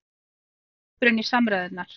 Sigrún grípur inn í samræðurnar